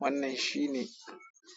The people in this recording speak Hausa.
Wannan shine.